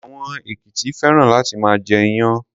Àwọn èkìtì féràn láti máa jẹ iyán.